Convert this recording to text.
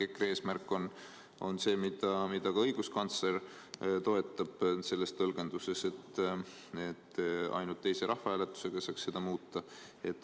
EKRE eesmärk on see, mida ka õiguskantsler toetab selles tõlgenduses: ainult rahvahääletusega saaks seda muuta.